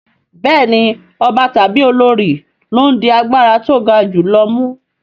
Bẹ́ẹ̀ni ọba tàbí olorì ló ń di agbára tó ga jù lọ mú